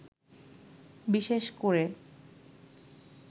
বিশেষ করে